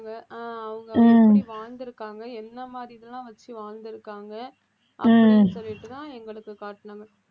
ஆஹ் அவங்க எப்படி வாழ்ந்திருக்காங்க என்ன மாதிரி இதெல்லாம் வச்சு வாழ்ந்திருக்காங்க அப்படின்னு சொல்லிட்டுதான் எங்களுக்கு காட்டினாங்க